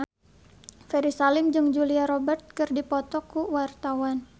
Ferry Salim jeung Julia Robert keur dipoto ku wartawan